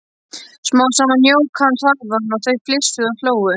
Smám saman jók hann hraðann og þau flissuðu og hlógu.